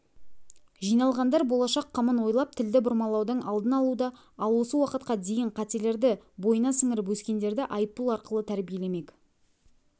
жиналғандар болашақ қамын ойлап тілді бұрмалаудың алдын алуда ал осы уақытқа дейін қателерді бойына сіңіріп өскендерді айыппұл арқылы тәрбиелемек